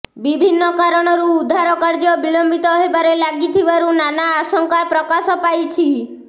ବିଭିନ୍ନ କାରଣରୁ ଉଦ୍ଧାର କାର୍ଯ୍ୟ ବିଳମ୍ବିତ ହେବାରେ ଲାଗିଥିବାରୁ ନାନା ଆଶଙ୍କା ପ୍ରକାଶ ପାଇଛି